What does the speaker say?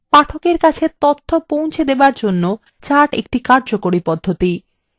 পাঠকের কাছে তথ্য পৌঁছে দেওয়ার জন্য charts কার্যকরী পদ্ধতি হতে পারে